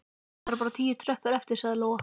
Það eru bara tíu tröppur eftir, sagði Lóa.